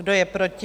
Kdo je proti?